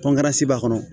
b'a kɔnɔ